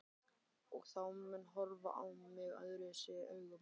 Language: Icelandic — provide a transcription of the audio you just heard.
Og þá mun hún horfa á mig öðruvísi augum.